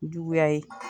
Juguya ye